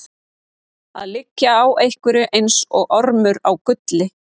Að liggja á einhverju eins og ormur á gulli